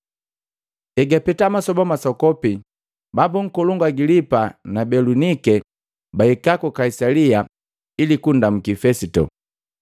Egapeta masoba masokopi, bambu nkolongu Agilipa na Belunike bahika ku Kaisalia ili kupia kunndamuki Fesito.